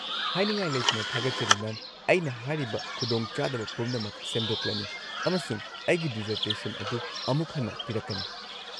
-ꯍꯥꯏꯅꯤꯡꯉꯥꯏ ꯂꯩꯇꯅ ꯊꯥꯒꯠꯆꯔꯤ, ꯃꯦꯝ, ꯑꯩꯅ ꯍꯥꯏꯔꯤꯕ ꯈꯨꯗꯣꯡꯆꯥꯗꯕ ꯄꯨꯝꯅꯃꯛ ꯁꯦꯝꯗꯣꯛꯂꯅꯤ ꯑꯃꯁꯨꯡ ꯑꯩꯒꯤ ꯗꯤꯖꯔꯇꯦꯁꯟ ꯑꯗꯨ ꯑꯃꯨꯛ ꯍꯟꯅ ꯄꯤꯔꯛꯀꯅꯤ꯫